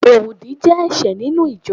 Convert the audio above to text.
oro odi je ẹṣẹ ninu ijọ